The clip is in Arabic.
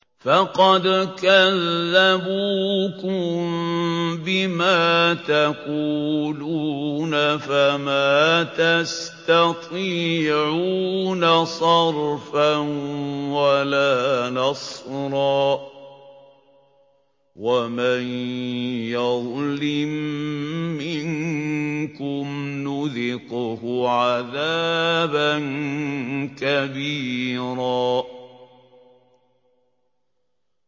فَقَدْ كَذَّبُوكُم بِمَا تَقُولُونَ فَمَا تَسْتَطِيعُونَ صَرْفًا وَلَا نَصْرًا ۚ وَمَن يَظْلِم مِّنكُمْ نُذِقْهُ عَذَابًا كَبِيرًا